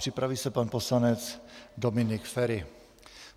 Připraví se pan poslanec Dominik Feri.